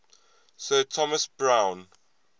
sir thomas browne